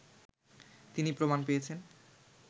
তিনি প্রমাণ পেয়েছেন